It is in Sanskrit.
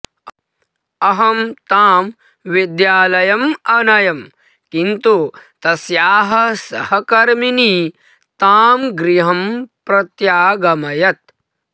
अहं तां विद्यालयम् अनयं किन्तु तस्याः सहकर्मिनी ताम् गृहं प्रत्यागमयत्